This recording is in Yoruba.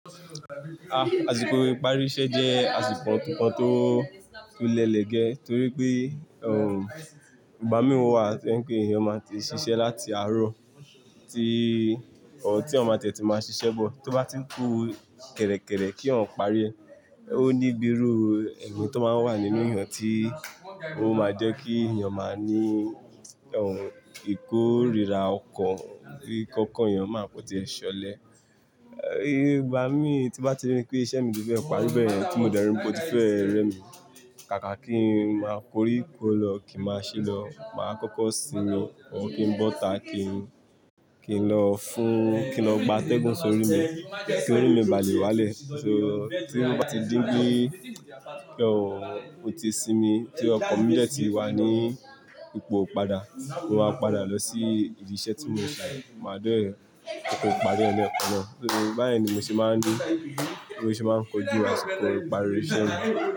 Àsìkò ìparí iṣẹ́ jẹ́ àsìkò kan tó, tó le lege torí pé, ìgbà mí wà to jẹ́ n pé èèyàn máa ti ṣiṣẹ́ láti àárọ̀ tí, tí ọ máa tẹ̀tí máa ṣiṣẹ́ bọ̀, tó bá ti ń kú kẹ̀rẹ̀kẹ̀rẹ̀ kí ọ̀ n pari ẹ, ó ní biru ẹ̀mí tó máa ń wà nínú èèyàn tí ó máa jẹ́ kí èèyàn máa ní, oh, ìkórira ọkọ̀, kí kankan èèyàn máa kanti e ṣọlẹ. Ìgbà mí tí bá ti rí pé iṣẹ́ mi ti fe parí beyen, ti mo dẹ́ri pe o ti fẹ́ rẹ mi, kàkà kí n máa koríko lọ, kí n máa ṣí lọ, màá kọ́kọ́ siinmo or kí n bọ́ta kí n, kí n lọ fún, kí n lọ gba atẹ́gùn sórí mi, kí orí mi bà lè wálẹ̀. So tí mo bá ti dípe oh, ó ti sinmi, tí ọkan mi dẹ́ ti wà ní ipò padà, mo máa padà lọ sí ibi iṣẹ́ tí mo ń ṣe. Màá de kuku parí ẹ ni ekan náà. Torí báyìí ni mo ṣe máa ń ní, mo ṣe máa ń kojú àsìkò ìparí iṣẹ́ mi.